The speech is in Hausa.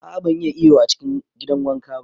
A'a ban iya iyo a cikin gidan wanka ba.